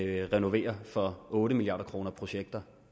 renovere for otte milliard kroner projekter